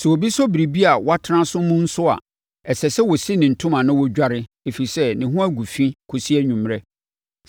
Sɛ obi sɔ biribi a watena so mu nso a, ɛsɛ sɛ ɔsi ne ntoma na ɔdware, ɛfiri sɛ, ne ho agu fi kɔsi anwummerɛ,